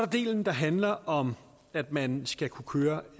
delen der handler om at man skal kunne køre